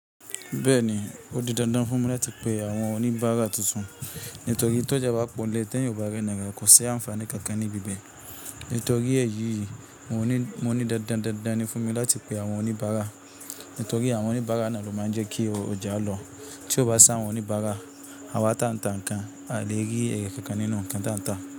Bẹ́ẹ̀ni, ó di dandan fún mi láti pe àwọn oníbáárà tuntun nítorí tó ja bá pọ̀ lé tẹ́yìn ọ ba rẹ́ni ráà, kò ṣe àǹfààní kankan ní bibẹ̀. Nítorí èyí yìí, mo ní dandan dandan ni fún mi láti pe àwọn oníbáárà, nítorí àwọn oníbáárà na ló máa ń jẹ́ kí ọjà lọ. Tí o bá sa àwọn oníbáárà, àwa tantà nǹkan á le rí ère kankan nínú nǹkan tantà.